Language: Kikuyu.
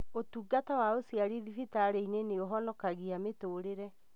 ũtungata wa ũciari thibitarĩ-inĩ nĩũhonokagia mĩtũrĩre